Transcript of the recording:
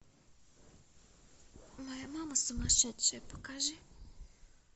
моя мама сумасшедшая покажи